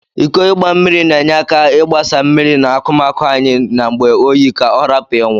Iko igba mmiri na enye aka igbasa mmiri na akụmaụ anyi n'ngbe oyi ka ọrapụ inwụ.